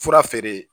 Fura feere